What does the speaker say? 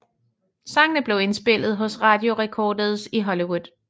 Sangene blev indspillet hos Radio Recorders i Hollywood